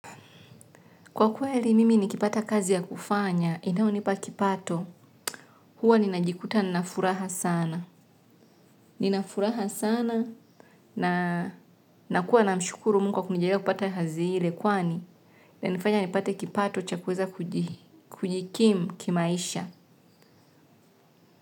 Kwa kweli mimi nikipata kazi ya kufanya, inayonipa kipato, huwa ninajikuta nina furaha sana, ninafuraha sana na nakuwa namshukuru Mungu kwa kunijalia kupata hadhi ile kwani inanifanya nipate kipato cha kuweza kujikimu kimaisha.